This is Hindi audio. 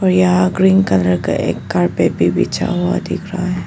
यहां ग्रीन कलर का एक कारपेट भी बिछा हुआ दिख रहा है।